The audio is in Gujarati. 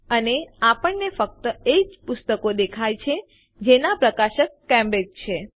અને આપણને ફક્ત એજ પુસ્તકો દેખાય છે જેનાં પ્રકાશક કેમ્બ્રિજ છે